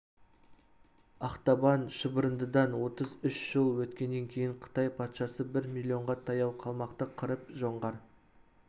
ақтабан шұбырындыдан отыз үш жыл өткеннен кейін қытай патшасы бір миллионға таяу қалмақты қырып жоңғар